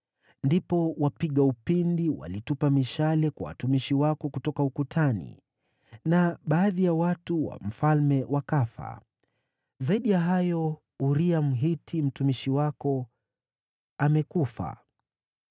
Ndipo wapiga upinde walitupa mishale kwa watumishi wako kutoka ukutani, na baadhi ya watu wa mfalme wakafa. Zaidi ya hayo, Uria, Mhiti, mtumishi wako amekufa.”